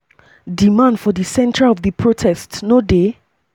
di man for di centre of di protests no dey dia.